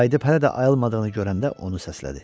Qayıdıb hələ də ayılmadığını görəndə onu səslədi.